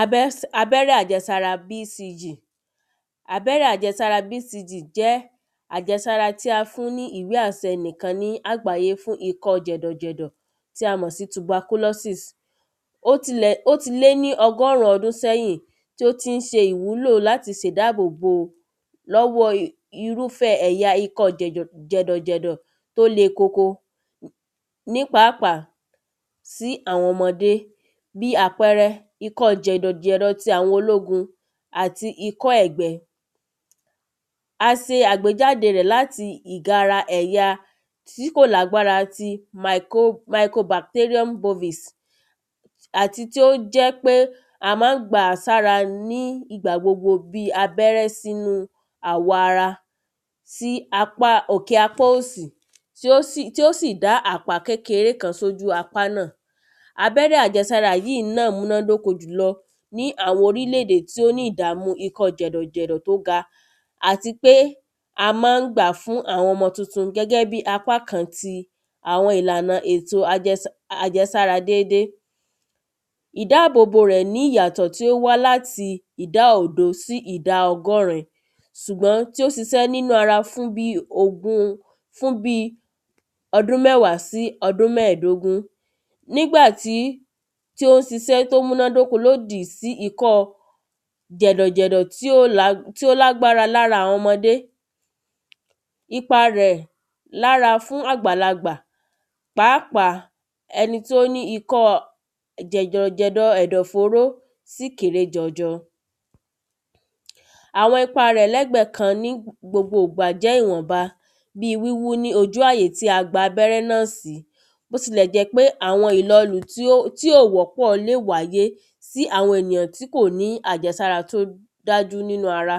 Abẹ́ abẹ́rẹ́ àjẹsára bcg abẹ́rẹ́ àjẹsára bcg jẹ́ àjẹsára tí a fún ní ìwé àsẹ nìkan ní àgbáyé fún ikọ́ jẹ̀dò jẹ̀dò tí a mọ̀ sí tuberculosi,s. Ó ti lẹ̀ ó ti lé ní ọgọ́rùn ọdún sẹ́yìn tí ó tí ń ṣe ìwúlò láti ṣe ìdábò bò lọ́wọ́ irúfẹ́ ẹ̀yà jẹ̀dọ̀ jẹ̀dọ̀ tó le koko ní pàápàá sí àwọn ọmọdé bí àpẹrẹ ikọ́ jẹ̀dọ̀ jẹ̀dọ̀ ti ológun àti ikọ́ ẹ̀gbẹ. A se àgbéjáde rẹ̀ láti ìgara ẹ̀ya tí kò lágbára ti micro micro bacterium bovis àti tí ó jẹ́ pé a má ń gbàá sára ní ìgbà gbogbo bí abẹ́rẹ́ sínú àwọ̀ ara sí apá òkè apá òsì tí ó sì tí ó sì dá àpá kékeré kan sí ojú apá náà. Abẹ́rẹ́ àjẹsára yìí náà múná dóko jù lọ ní àwọn orílè èdè tí ó ní ìdàmú jẹ̀dọ̀ jẹ̀dọ̀ tó ga àti pé a má ń gbàá fún àwọn ọmọ tuntun gẹ́gẹ́ bí apá kan ti àwọn ìlànà ti ètò ètò àjẹsára dédé. Ìdábò bò rẹ̀ ní ìyàtọ̀ tí ó wá láti ìdá òdo sí ìdá ọgọ́rin ṣùgbọ́n tí ó siṣẹ́ nínú ara fún bí ogún fún bí ọdún mẹ́wàá sí bí ọdún mẹ́ẹ̀dógún tí ó ń sisẹ́ tó múnádóko lòdì sí ikọ́ jẹ̀dọ̀ jẹ̀dọ̀ tí ò tí ó lágbára lára àwọn ọmọdé ipa rẹ̀ lára fún àgbàlagbà pàápàá ẹni tó ní ikọ́ jẹ̀dọ̀ jẹ̀dọ̀ ẹ̀dọ̀ fóró sì kéré jọjọ. Àwọn ipa rẹ̀ lẹ́gbẹ kan jẹ́ ìwọ̀nba bí wíwú ní ojú àyè tí a gba abẹ́rẹ́ náà sí bó tilẹ̀ jẹ́ pé àwọn ìlọ tí ò wọ́pọ̀ le wáyé tí àwọn ènìyàn tí kò ní àjẹsára tó dájú nínú ara